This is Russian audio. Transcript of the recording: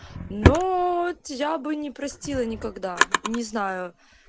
но я бы не простила никогда не знаю